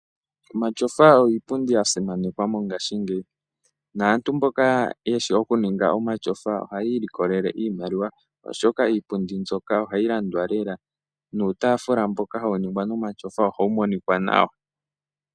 Omatyofa oyo iipundi ya simanekwa mongashingeyi. Naantu mboka yeshi okuninga omatyofa ohayi ilikolele iimaliwa, oshoka iipundi mbyoka ohayi landwa lela nuutaafula mboka hawu ningwa nomatyofa ohawu monika nawa.